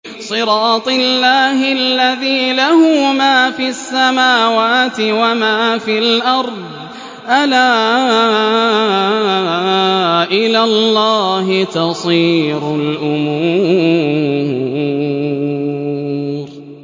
صِرَاطِ اللَّهِ الَّذِي لَهُ مَا فِي السَّمَاوَاتِ وَمَا فِي الْأَرْضِ ۗ أَلَا إِلَى اللَّهِ تَصِيرُ الْأُمُورُ